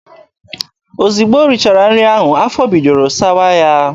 Ozugbo o richara nri ahụ, afọ bidoro sawa ya.